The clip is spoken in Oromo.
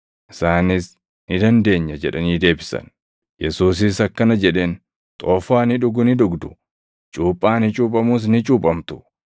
Isaanis, “Ni dandeenya” jedhanii deebisan. Yesuusis akkana jedheen; “Xoofoo ani dhugu ni dhugdu; cuuphaa ani cuuphamus ni cuuphamtu;